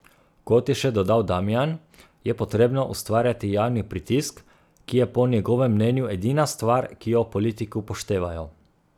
Kot je še dodal Damijan, je potrebno ustvarjati javni pritisk, ki je po njegovem mnenju edina stvar, ki jo politiki upoštevajo.